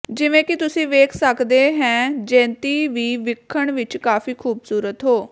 ਜਿਵੇਂ ਕਿ ਤੁਸੀ ਵੇਖ ਸੱਕਦੇ ਹੈ ਜੈੰਤੀ ਵੀ ਵਿੱਖਣ ਵਿੱਚ ਕਾਫ਼ੀ ਖੂਬਸੂਰਤ ਹੋ